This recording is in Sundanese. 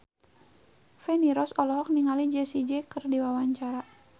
Feni Rose olohok ningali Jessie J keur diwawancara